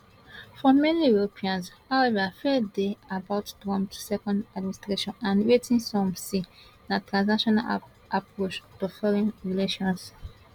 for many europeans however fear dey about trump second administration and wetin some see as transactional approach to foreign relations